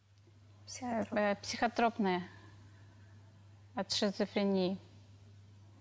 психотропные от шизофрении